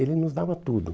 Ele nos dava tudo.